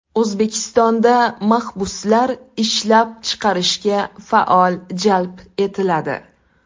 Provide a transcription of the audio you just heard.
O‘zbekistonda mahbuslar ishlab chiqarishga faol jalb etiladi.